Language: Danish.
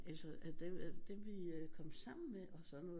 Altså dem vi kom sammen med og sådan noget